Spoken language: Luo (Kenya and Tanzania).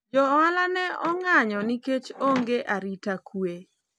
jo ohala ne ong'ayo nikech onge arita kwe